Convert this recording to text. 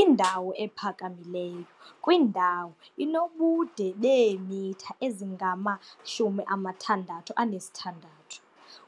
Indawo ephakamileyo kwindawo inobude beemitha ezingama-66